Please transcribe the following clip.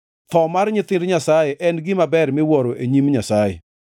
Tho mar nyithind Nyasaye en gima ber miwuoro e nyim Jehova Nyasaye.